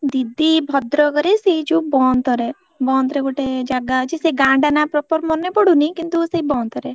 ଦିଦି ଭଦ୍ରକ ରେ ସେଇ ଯୋଉ ବନ୍ତ ରେ ବନ୍ତ ରେ ଗୋଟେ ଜାଗା ଅଛି ସେ ଗାଁ ଟା ନା proper ମାନେ ପଡ଼ୁନି କିନ୍ତୁ ସେଇ ବନ୍ତରେ।